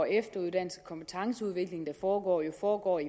efteruddannelse kompetenceudvikling der foregår foregår i